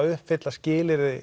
uppfylla skilyrði